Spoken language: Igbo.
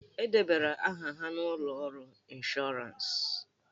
E debara aha ha n'ụlọ ọrụ ịnshọransị.